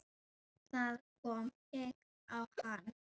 Það kom hik á hann.